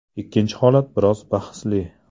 Ikkinchi holat biroz bahsli.